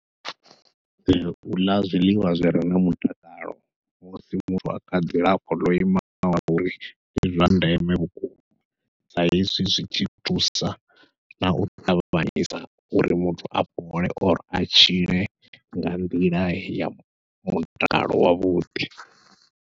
Uḽa zwiḽiwa zwi re na mutakalo musi muthu a kha dzilafho ḽo imaho ngauri ndi zwa ndeme vhukuma, sa hezwi zwi thi thusa nau ṱavhanyisa uri muthu a fhole or a tshile nga nḓila ya mutakalo wavhuḓi.